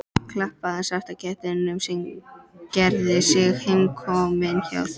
Klappaði svarta kettinum sem gerði sig heimakominn hjá mér.